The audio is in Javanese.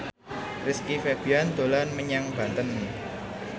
Rizky Febian dolan menyang Banten